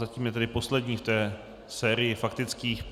Zatím je tedy poslední v té sérii faktických.